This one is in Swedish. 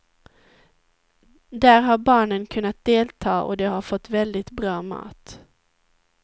Där har barnen kunnat delta och de har fått väldigt bra mat.